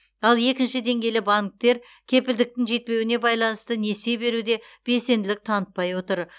ал екінші деңгейлі банктер кепілдіктің жетпеуіне байланысты несие беруде белсенділік танытпай отыр